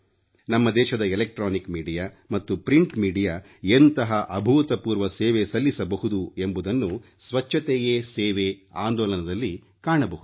ನಮ್ಮ ದೇಶದ ವಿದ್ಯುನ್ಮಾನ ಮಾಧ್ಯಮ ಮತ್ತು ಮುದ್ರಣ ಮಾಧ್ಯಮ ಎಂತಹ ಅಭೂತಪೂರ್ವ ಸೇವೆ ಸಲ್ಲಿಸಬಹುದು ಎಂಬುದನ್ನು ಸ್ವಚ್ಛತೆಯೇ ಸೇವೆ ಆಂದೋಲನದಲ್ಲಿ ಕಾಣಬಹುದು